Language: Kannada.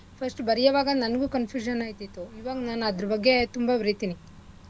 First ಉ ಬರಿಯೊವಾಗ ನನ್ಗು confusion ಆಯ್ತಾಯಿತ್ತು ಈವಾಗ್ ನಾನ್ ಅದ್ರ ಬಗ್ಗೆ ತುಂಬಾ ಬರೀತಿನಿ.